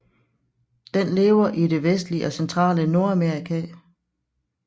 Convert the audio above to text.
Den lever i det vestlige og centrale Nordamerika